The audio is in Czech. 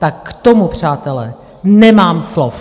Tak k tomu, přátelé, nemám slov!